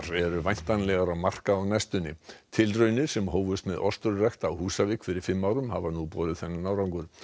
eru væntanlegar á markað á næstunni tilraunir sem hófust með ostrurækt á Húsavík fyrir fimm árum hafa nú borið þennan árangur